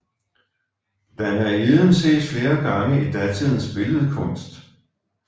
Danaiden ses flere gange i datidens billedkunst